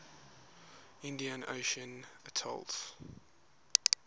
indian ocean atolls